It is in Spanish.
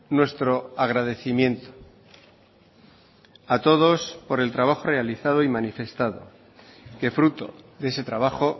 nuestro agradecimiento a todos por el trabajo realizado y manifestado que fruto de ese trabajo